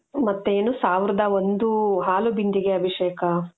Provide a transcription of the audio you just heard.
ಮತ್ತೆ ಏನು ಸಾವಿರದ ಒಂದು ಹಾಲು ಬಿಂದಿಗೆ ಅಭಿಷೇಕ .